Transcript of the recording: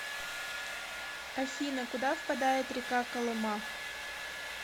афина куда впадает река колыма